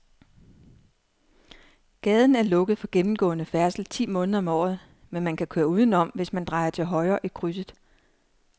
Gaden er lukket for gennemgående færdsel ti måneder om året, men man kan køre udenom, hvis man drejer til højre i krydset.